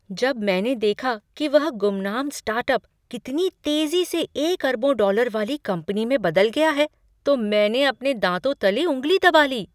जब मैंने देखा कि वह ग़ुमनाम स्टार्टअप कितनी तेजी से एक अरबों डॉलर वाली कंपनी में बदल गया है तो मैंने अपने दाँतों तले ऊँगली दबा ली।